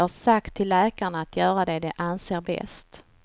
Jag har sagt till läkarna att göra det de anser bäst.